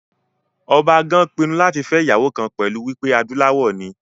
Ọba gan pinnu láti fẹ́ ìyàwó kan pẹ̀lú wípé adúláwọ̀ ni